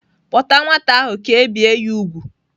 Kpọta nwata ahụ ka e bie ya úgwù!